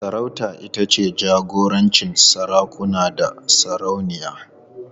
Sarauta ita ce jagorancin sarakuna da sarauniya.